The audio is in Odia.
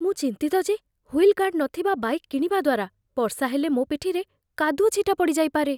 ମୁଁ ଚିନ୍ତିତ ଯେ ହୁଇଲ୍ ଗାର୍ଡ଼ ନଥିବା ବାଇକ୍ କିଣିବା ଦ୍ୱାରା ବର୍ଷା ହେଲେ ମୋ ପିଠିରେ କାଦୁଅ ଛିଟା ପଡ଼ିଯାଇପାରେ।